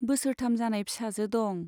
बोसोरथाम जानाय फिसाजो दं।